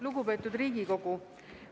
Lugupeetud Riigikogu!